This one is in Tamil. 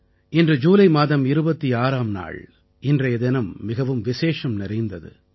இன்று ஜூலை மாதம் 26ஆம் நாள் இன்றைய தினம் மிகவும் விசேஷம் நிறைந்தது